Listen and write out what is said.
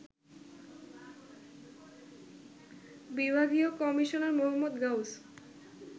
বিভাগীয় commissioner Md. Gauss